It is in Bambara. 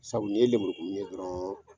Sabu ye lemurukunni ye dɔrɔnw